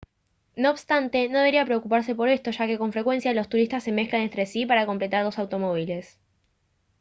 no obstante no debería preocuparse por esto ya que con frecuencia los turistas se mezclan entre sí para completar los automóviles